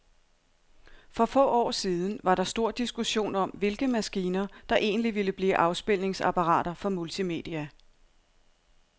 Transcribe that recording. For få år siden var der stor diskussion om, hvilke maskiner, der egentlig ville blive afspilningsapparater for multimedia.